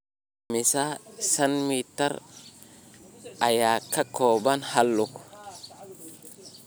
Immisa senti mitir ayaa ka kooban hal lug?